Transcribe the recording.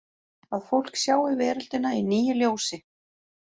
Að fólk sjái veröldina í nýju ljósi?